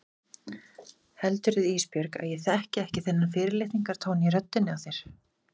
Heldurðu Ísbjörg að ég þekki ekki þennan fyrirlitningartón í röddinni á þér?